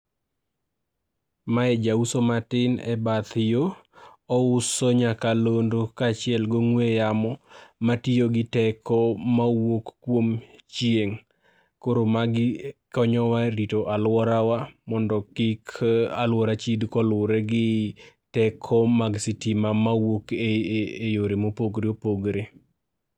Mae jauso matin e bath yo ouso nyakalondo ka achiel gi ong'ue yamo matiyo gi teko mawuok kuom chieng',koro magi konyowa e rito aluorawa mondo kik aluora chid koluwore gi teko mar sitima mawuok e yore mopogore opogore.